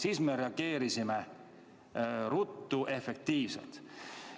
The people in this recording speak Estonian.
Siis me reageerisime ruttu ja efektiivselt.